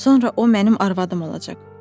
Sonra o mənim arvadım olacaq.